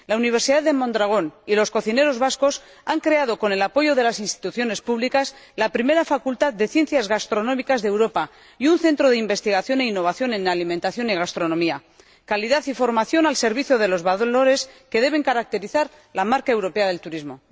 La Universidad de Mondragón y los cocineros vascos han creado, con el apoyo de las instituciones públicas, la primera Facultad de Ciencias Gastronómicas y un centro de investigación e innovación en alimentación y gastronomía calidad y formación al servicio de los valores que deben caracterizar la marca europea del turismo.